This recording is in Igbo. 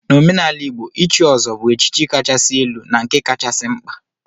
N'omenala Igbo, ichi ọzọ bu echichi kachasị elu na nke kachasị mkpa.